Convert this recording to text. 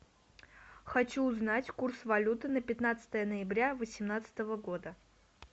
хочу узнать курс валюты на пятнадцатое ноября восемнадцатого года